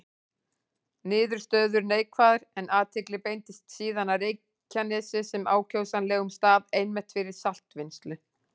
Niðurstöður neikvæðar, en athygli beindist síðan að Reykjanesi sem ákjósanlegum stað einmitt fyrir saltvinnslu.